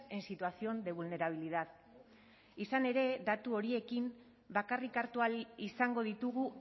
en situación de vulnerabilidad izan ere datu horiekin bakarrik hartu ahal izango ditugu